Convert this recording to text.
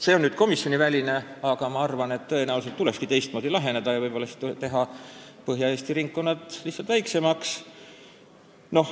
See on nüüd komisjoniväline arvamus, aga ma arvan, et tõenäoliselt tulekski teistmoodi läheneda ja teha Põhja-Eesti ringkonnad lihtsalt väiksemaks.